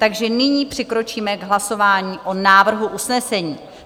Takže nyní přikročíme k hlasování o návrhu usnesení.